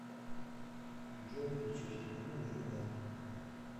джой включи телеканал еда